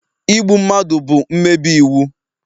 Igbu mmadụ bụ mmebi iwu